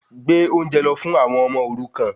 Gbé oúnjẹ lọ fún àwọn ọmọ òrukan